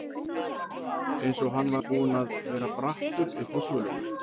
Eins og hann var búinn að vera brattur uppi á svölunum.